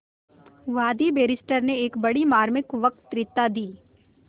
वादी बैरिस्टर ने एक बड़ी मार्मिक वक्तृता दी